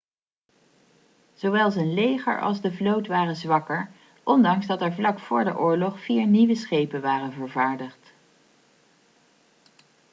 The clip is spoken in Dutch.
zowel zijn leger als de vloot waren zwakker ondanks dat er vlak voor de oorlog vier nieuwe schepen waren vervaardigd